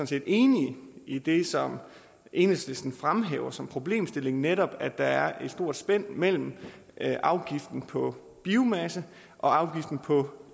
set enige i det som enhedslisten fremhæver som problemstillingen netop at der er et stort spænd imellem afgiften på biomasse og afgiften på